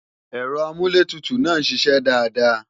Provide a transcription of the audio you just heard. Ẹ̀rọ amúlétutù náà ń ṣiṣẹ́ dáadáa